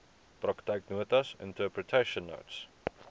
praktyknotas interpretation notes